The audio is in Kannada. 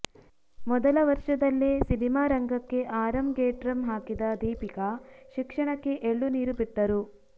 ಮೊದಲ ವರ್ಷದಲ್ಲೇ ಸಿನಿಮಾ ರಂಗಕ್ಕೆ ಆರಂಗೇಟ್ರಂ ಹಾಕಿದ ದೀಪಿಕಾ ಶಿಕ್ಷಣಕ್ಕೆ ಎಳ್ಳುನೀರು ಬಿಟ್ಟರು